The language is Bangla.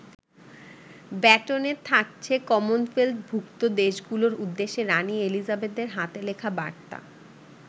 ব্যাটনে থাকছে কমনওয়েলথভুক্ত দেশগুলোর উদ্দেশ্যে রানি এলিজাবেথের হাতে লেখা বার্তা।